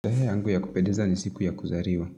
Tarehe yangu ya kupendeza ni siku ya kuzaliwa.